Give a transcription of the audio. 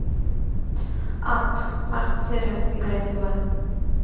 апп смарт сервис играть в